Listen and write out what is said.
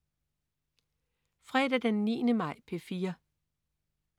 Fredag den 9. maj - P4: